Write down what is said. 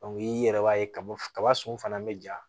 i yɛrɛ b'a ye kaba kaba sun fana bɛ ja